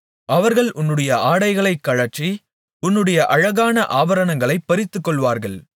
அவர்கள் உன்னுடைய ஆடைகளை கழற்றி உன்னுடைய அழகான ஆபரணங்களைப் பறித்துக்கொள்ளுவார்கள்